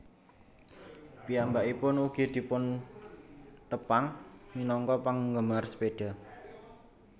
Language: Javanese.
Piyambakipun ugi dipuntepang minangka penggemar sepeda